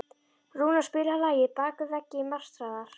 Rúnar, spilaðu lagið „Bak við veggi martraðar“.